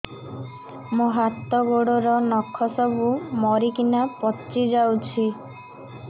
ମୋ ହାତ ଗୋଡର ନଖ ସବୁ ମରିକିନା ପଚି ଯାଉଛି